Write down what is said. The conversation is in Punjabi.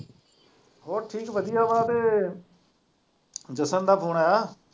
ਹੋਰ ਠੀਕ ਵਧੀਆ ਮੈਂ ਤੇ ਜਸ਼ਨ ਦਾ ਫੋਨ ਆਇਆ?